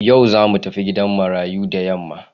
Yau za mu tafi gidan marayu da yamma.